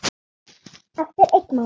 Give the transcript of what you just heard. Eftir einn mánuð?